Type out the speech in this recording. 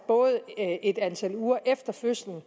et antal uger efter fødslen